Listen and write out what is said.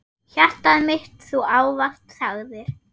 Hjartað mitt Þú ávallt sagðir.